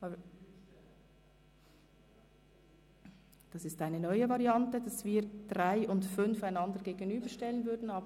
– Es wird gerade eine neue Variante vorgeschlagen, nämlich die Gegenüberstellung der Planungserklärungen 3 und 5.